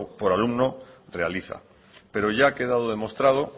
por alumno realiza pero ya ha quedado demostrado